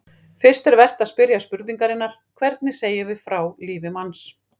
Fyrst er vert að spyrja spurningarinnar: hvernig segjum við frá lífi manns?